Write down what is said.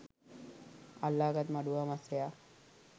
අල්ලා ගත් මඩුවා මත්ස්‍යයා